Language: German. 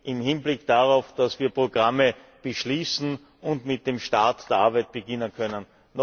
im Hinblick darauf, dass wir Programme beschließen und mit den Arbeiten beginnen können.